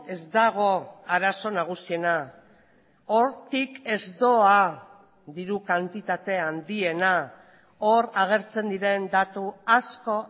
ez dago arazo nagusiena hortik ez doa diru kantitate handiena hor agertzen diren datu asko